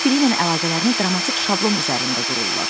Bir-biriylə əlaqələrini dramatik şablon üzərində qururlar.